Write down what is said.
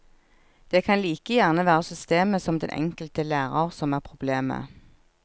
Det kan like gjerne være systemet som den enkelte lærer som er problemet.